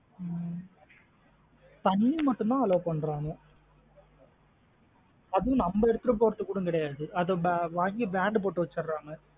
ஹம் தண்ணி மட்டும் தான் allow பண்றாங்க . அதும் நம்ம எடுத்திட்டு போறது குட கிடையாது அதா வாங்கி band போட்டு வச்சிராங்க.